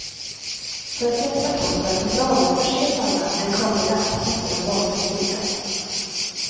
För att hjälpa kroppen på traven förses alla med en karta järntabletter av valfri styrka.